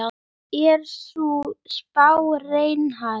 Er sú spá raunhæf?